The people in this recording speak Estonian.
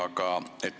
Jätkan.